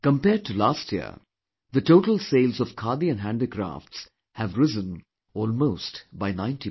Compared to last year, the total sales of Khadi & Handicrafts have risen almost by 90%